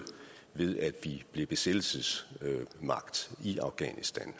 ved at vi blev besættelsesmagt i afghanistan